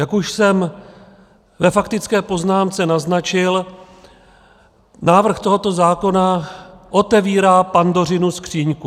Jak už jsem ve faktické poznámce naznačil, návrh tohoto zákona otevírá Pandořinu skříňku.